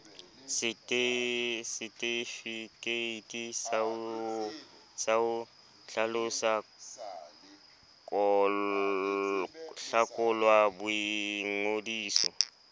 setefikeiti sa ho hlakolwa boingodisong